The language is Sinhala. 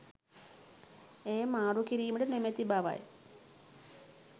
එය මාරු කිරීමට නොමැති බවයි